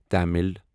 Tamil